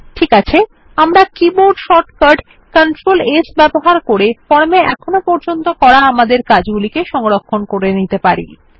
ঠিক আছে আমরা কীবোর্ড শর্টকাট কন্ট্রোল S ব্যবহার করে ফর্মে আমাদের এখন পর্যন্ত করা কাজ সংরক্ষণ করে নিতে পারি